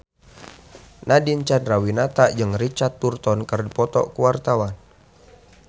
Nadine Chandrawinata jeung Richard Burton keur dipoto ku wartawan